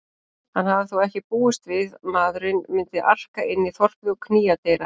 Hann hafði þó ekki búist við maðurinn myndi arka inn í þorpið og knýja dyra.